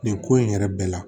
Nin ko in yɛrɛ bɛɛ la